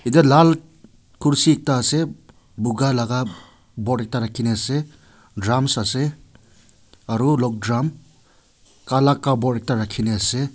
ete lal kursi ekta ase boga laga board ekta rakhi ne ase rums ase aro logdrum kala cupboard ekta rakhi ne ase.